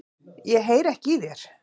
Ég heyri ekki í þér.